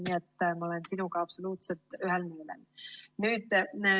Nii et ma olen sinuga absoluutselt ühel nõul.